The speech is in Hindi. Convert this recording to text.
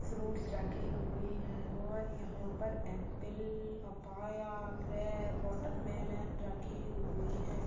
फ्रूट्स रखे हुए हैं और यहाँ पर apple papaya grape watermelon रखे हुए हैं।